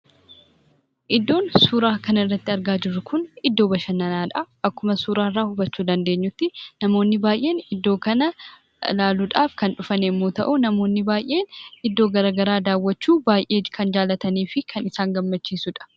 Iddoon suuraa kanarratti argaa jirru kun iddoo badhannanaadhaa akkuma suuraa irra hubachuu dandeenyuttii namoonni baay'een iddoo laaluudhaaf kan dhufan yommuun ta'u namoonni baay'een iddoo garaan garaan daawwachuu baay'ee kan jaalataniifi kan isaan gammachiisudha.